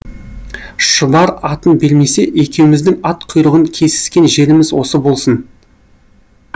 шұбар атын бермесе екеуміздің ат құйрығын кесіскен жеріміз осы болсын